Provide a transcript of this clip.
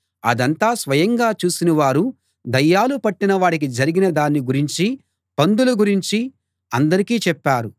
అదంతా స్వయంగా చూసినవారు దయ్యాలు పట్టిన వాడికి జరిగిన దాన్ని గురించి పందుల గురించి అందరికీ చెప్పారు